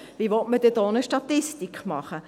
Wie will man denn da eine Statistik machen?